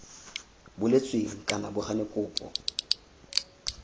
boletsweng kana bo gane kopo